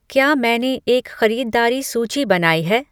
क्या मैंने एक ख़रीददारी सूची बनाई है